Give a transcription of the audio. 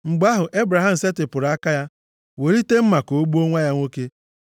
Mgbe ahụ Ebraham setịpụrụ aka ya, welite mma ka o gbuo nwa ya nwoke.